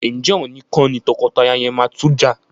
Ǹjẹ́ òní kọ́ ni tọkọtaya yẹn máa tún jà?